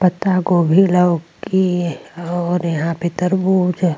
पत्ता गोभी लौकी और यहां पे तरबूज --